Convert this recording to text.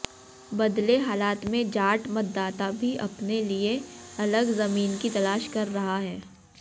बदले हालात में जाट मतदाता भी अपने लिए अलग जमीन की तलाश कर रहा है